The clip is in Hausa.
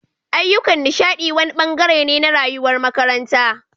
Ayyukan nishaɗi wani ɓangare ne na rayuwar makaranta